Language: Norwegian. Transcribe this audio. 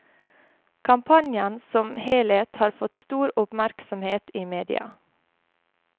Kampanjen som helhet har fått stor oppmerksomhet i media.